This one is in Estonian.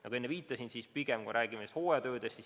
Nagu ma enne viitasin, me pigem räägime hooajatöödest.